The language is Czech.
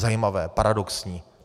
Zajímavé, paradoxní.